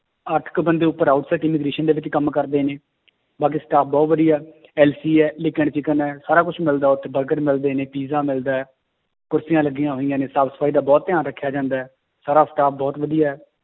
ਅੱਠ ਕੁ ਬੰਦੇ ਉੱਪਰ ਦੇ ਵਿੱਚ ਕੰਮ ਕਰਦੇ ਨੇ ਬਾਕੀ staff ਬਹੁਤ ਵਧੀਆ ਹੈ ਹੈ ਸਾਰਾ ਕੁਛ ਮਿਲਦਾ ਉੱਥੇ ਬਰਗਰ ਵੀ ਮਿਲਦੇ ਨੇ ਪੀਜਾ ਮਿਲਦਾ ਹੈ, ਕੁਰਸੀਆਂ ਲੱਗੀਆਂ ਹੋਈਆਂ ਨੇ ਸਾਫ਼ ਸਫ਼ਾਈ ਦਾ ਬਹੁਤ ਧਿਆਨ ਰੱਖਿਆ ਜਾਂਦਾ ਹੈ, ਸਾਰਾ staff ਬਹੁਤ ਵਧੀਆ ਹੈ